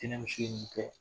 Tɛnɛmuso ye nin kɛ